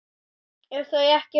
ef þau ekki svara